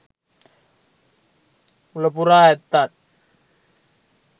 මුල පුරා ඇත්තන්